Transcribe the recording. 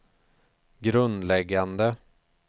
grundläggande